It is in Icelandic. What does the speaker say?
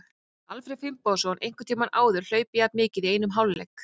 Hefur Alfreð Finnbogason einhvern tímann áður hlaupið jafn mikið í einum hálfleik?